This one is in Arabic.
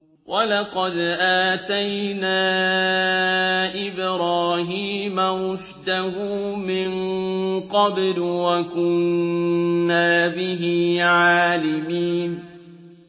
۞ وَلَقَدْ آتَيْنَا إِبْرَاهِيمَ رُشْدَهُ مِن قَبْلُ وَكُنَّا بِهِ عَالِمِينَ